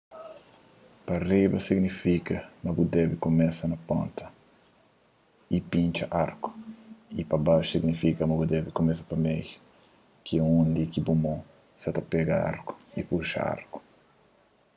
pa riba signifika ma bu debe kumesa pa ponta y pintxa arku y pa baxu signifika ma bu debe kumesa pa meiu ki é undi ki bu mon sa ta pega arku y puxa arku